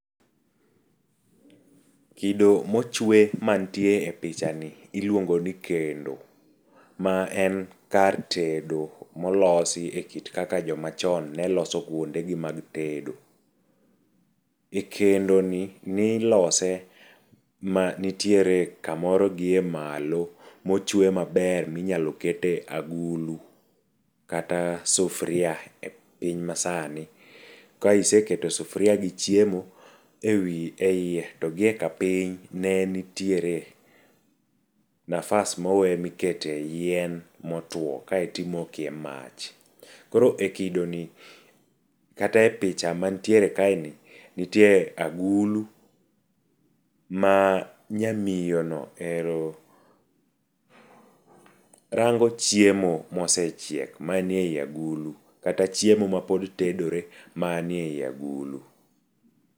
Kodo mochwe mantie e picha ni iluongo ni kendo. Ma en kar tedo molosi e kit kaka joma chon ne loso gunde gi mag tedo. E kendoni nilose ma nitiere kamoro gi e malo mochwe maber minyalo kete agulu kata sufria e piny masani. Ka iseketo sufria gi chiemo e iye, to gi e kapiny ne nitiere nafas mowe mikete yien motwo kaetimoke mach. Koro e kidoni kata e picha mantiere kae ni nitiere agulu, ma nyamiyono ero rango chiemo mosechiek manie i agulu. Kata chiemo mapod tedore manie i agulu.